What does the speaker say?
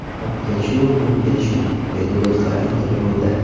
Biroq kelishuv bu kelishuv”, deydi do‘stlar intervyuda.